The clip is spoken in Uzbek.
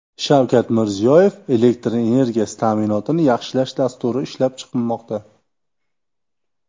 Shavkat Mirziyoyev: Elektr energiyasi ta’minotini yaxshilash dasturi ishlab chiqilmoqda.